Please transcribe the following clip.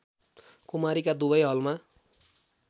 कुमारीका दुबै हलमा